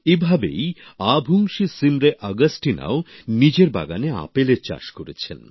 এভাবেই আভুংশী সিমরে অগাস্টিনাও নিজের বাগানে আপেলের চাষ করেছেন